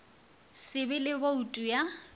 se be le boutu ya